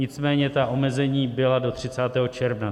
Nicméně ta omezení byla do 30. června.